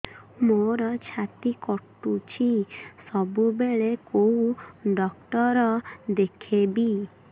ମୋର ଛାତି କଟୁଛି ସବୁବେଳେ କୋଉ ଡକ୍ଟର ଦେଖେବି